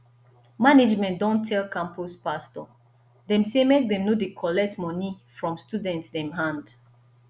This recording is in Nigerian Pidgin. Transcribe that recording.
management don tell campus pastor dem sey make dem no dey collect moni from student dem hand